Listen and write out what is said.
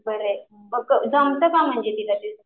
बरंय मग जमतं का तुला मग?